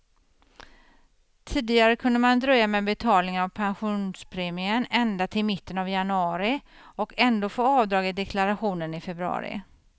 Tidigare kunde man dröja med betalningen av pensionspremien ända till mitten av januari, och ändå få avdrag i deklarationen i februari.